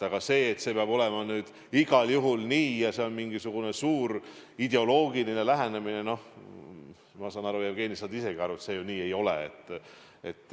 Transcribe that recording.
Aga et tegu on igal juhul mingisuguse suure ideoloogilise eesmärgiga – noh, ma saan aru, Jevgeni, et sa saad isegi aru, et see ju nii ei ole.